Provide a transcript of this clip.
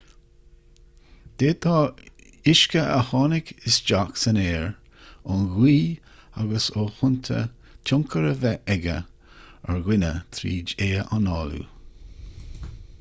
d'fhéadfadh uisce a tháinig isteach san aer ón ngaoth agus ó thonnta tionchar a bheith aige ar dhuine tríd é análú